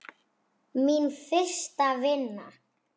Mín fyrsta vinna.